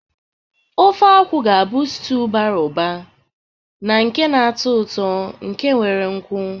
Ofe akwu bu stiuu nke bara ụba na nke na-atọ ụtọ nke nwere nkwu.